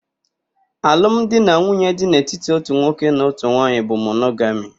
Alụ m di na nwunye dị n'etiti ótù nwoke na ótù nwaanyị bụ monogami.